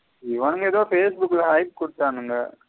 இவனுங்க ஏதோ facebook ல hike குடுத்தனுங்க.